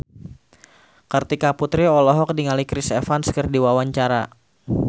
Kartika Putri olohok ningali Chris Evans keur diwawancara